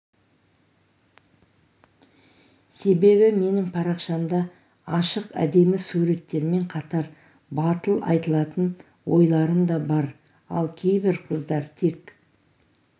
себебі менің парақшамда ашық әдемі суреттермен қатар батыл айтылатын ойларым да бар ал кейбір қыздар тек